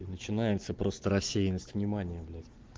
и начинается просто рассеянность внимания блять